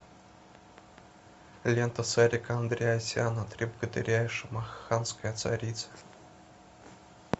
лента сарика андреасяна три богатыря и шамаханская царица